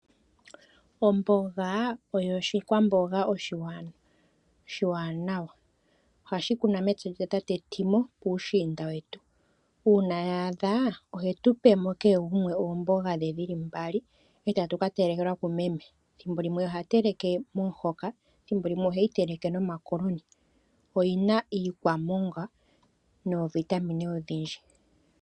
Omboga oyo oshikwamboga oshiwanawa. Ohashi kunwa metsa lyatate Timo puushinda wetu. Uuna ya adha ohe tu pemo kehe gumwe oomboga dhe dhili mbali e tatu ka telekelwa kumeme. Ethimbo limwe oha teleke momuhoka, ethimbo limwe oheyi teleke nomakoloni. Oyi na iikwamongwa noovitamine odhindji.